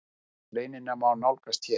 Greinina má nálgast hér.